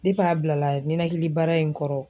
a bila la ninakili bara in kɔrɔ.